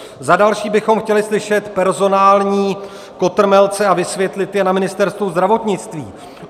Za další bychom chtěli slyšet personální kotrmelce - a vysvětlit je - na Ministerstvu zdravotnictví.